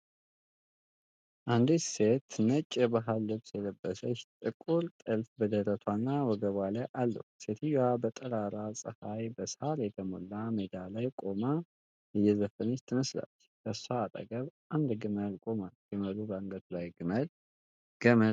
አንዲት ሴት ነጭ የባህል ልብስ የለበሰች፣ ጥቁር ጥልፍ በደረቷ እና ወገቧ ላይ አለው። ሴትየዋ በጠራራ ፀሐይ በሳር የተሞላ ሜዳ ላይ ቆማ እየዘፈነች ትመስላለች። ከእሷ አጠገብ አንድ ግመል ቆሟል፤ ግመሉ በአንገቱ ላይ ገመድ ታስሮበታል።